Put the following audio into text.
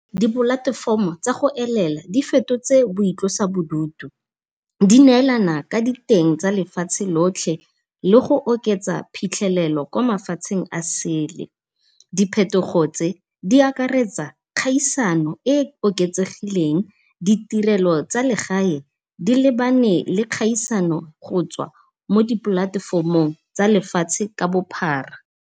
Dipolatefomo tsa go elela di fetotswe boitlosa bodutu. Di neelana ka diteng tsa lefatshe lotlhe le go oketsa phitlhelelo ko mafatsheng a sele. Diphetogo tse di akaretsa kgaisano e oketsegileng, ditirelo tsa legae di lebane le kgaisano gotswa mo dipolatefomong tsa lefatshe ka bophara.